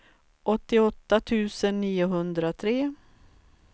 åttioåtta tusen niohundratre